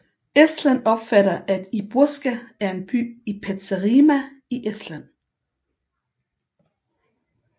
Estland opfatter at Irboska er en by i Petserimaa i Estland